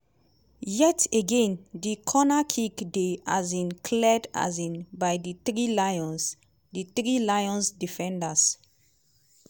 yet again di cornerkick dey um cleared um by di three lions di three lions defenders.